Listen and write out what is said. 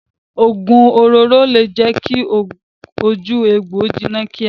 Ogun òróró le jẹ kí ojú egbò jiná kíá.